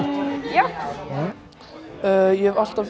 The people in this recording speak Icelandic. já ég hef alltaf